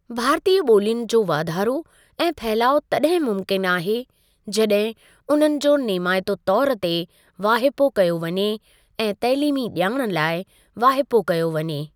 भारतीय ॿोलियुनि जो वाधारो ऐं फहिलाउ तॾहिं ममुकिन आहे, जड॒हिं उन्हनि जो नेमाइते तौरु ते वाहिपो कयो वञे ऐं तइलीमी ॼाण लाइ वाहिपो कयो वञे।